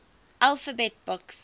alphabet books